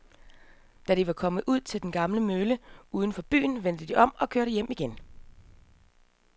Da de var kommet ud til den gamle mølle uden for byen, vendte de om og kørte hjem igen.